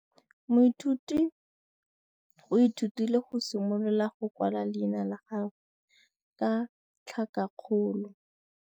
Moithuti o ithutile go simolola go kwala leina la gagwe ka tlhakakgolo.